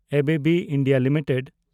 ABB India limited